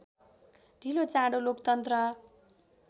ढिलोचाँडो लोकतन्त्र